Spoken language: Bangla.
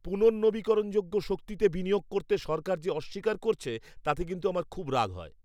পুনর্নবীকরণযোগ্য শক্তিতে বিনিয়োগ করতে সরকার যে অস্বীকার করছে, তাতে কিন্তু আমার খুব রাগ হয়।